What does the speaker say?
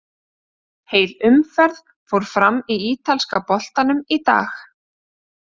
Heil umferð fór fram í ítalska boltanum í dag.